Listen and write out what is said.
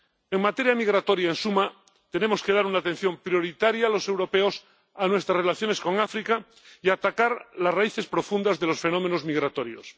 En materia migratoria, en suma, tenemos que dar una atención prioritaria los europeos a nuestras relaciones con África y atacar las raíces profundas de los fenómenos migratorios.